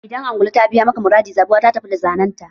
Idan angulu ta biya maka maradi, zabuwa ta tafi da zanenta.